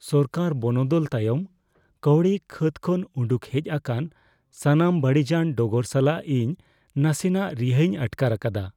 ᱥᱚᱨᱠᱟᱨ ᱵᱚᱱᱚᱫᱚᱞ ᱛᱟᱭᱚᱢ ᱠᱟᱹᱣᱰᱤ ᱠᱷᱟᱹᱛ ᱠᱷᱚᱱ ᱩᱰᱩᱠ ᱦᱮᱡ ᱟᱠᱟᱱ ᱥᱟᱱᱟᱢ ᱵᱟᱹᱲᱤᱡᱟᱱ ᱰᱚᱜᱚᱨ ᱥᱟᱞᱟᱜ ᱤᱧ ᱱᱟᱥᱮᱱᱟᱜ ᱨᱤᱦᱟᱹᱣᱤᱧ ᱟᱴᱠᱟᱨ ᱟᱠᱟᱫᱟ ᱾